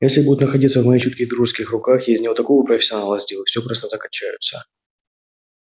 а если будет находиться в моих чутких дружеских руках я из него такого профессионала сделаю все просто закачаются